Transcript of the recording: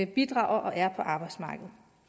bidrager og er på arbejdsmarkedet